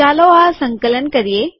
ચાલો આ સંકલન કરીએ